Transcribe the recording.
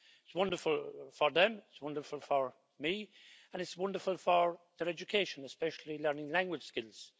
It's wonderful for them, it's wonderful for me and it's wonderful for their education, especially learning language skills.